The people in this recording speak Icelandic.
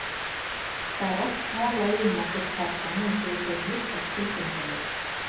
Það er oft talað um okkur karlana eins og við séum litlar tilfinningaverur.